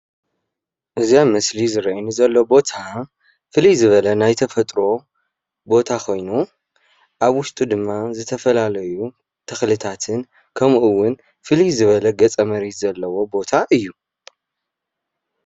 እዚ አብ ምስሊ ዝረአየኒ ዘሎ ቦታ ፍልይ ዝበለ ናይ ተፈጥሮ ቦታ ኾይኑ አብ ውሽጡ ድማ ዝተፈላለዩ ተኽልታትን ከምኡ ውን ፍልይ ዝበለ ገፀ መሬት ዘለዎ ቦታ እዪ።